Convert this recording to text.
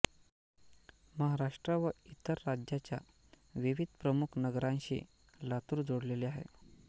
महाराष्ट्र व इतर राज्यांच्या विविध प्रमुख नगरांशी लातुर जोडलेले आहे